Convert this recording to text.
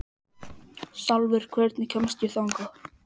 Salvör, hvernig kemst ég þangað?